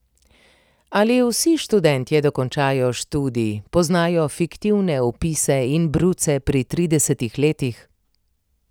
Ali vsi študentje dokončajo študij, poznajo fiktivne vpise in bruce pri tridesetih letih?